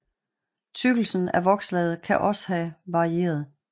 Tykkelsen af vokslaget kan også have varieret